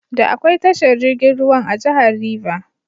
Da akwai tashar jirgin ruwan a jahar River.